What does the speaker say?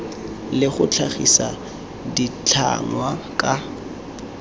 le go tlhagisa ditlhangwa ka